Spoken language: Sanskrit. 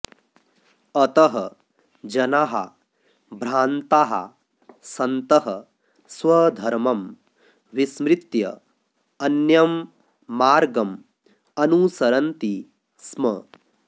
अतः जनाः भ्रान्ताः सन्तः स्वधर्मं विस्मृत्य अन्यं मार्गम् अनुसरन्ति स्म